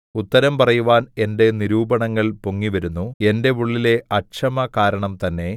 ഉത്തരം പറയുവാൻ എന്റെ നിരൂപണങ്ങൾ പൊങ്ങിവരുന്നു എന്റെ ഉള്ളിലെ അക്ഷമ കാരണം തന്നെ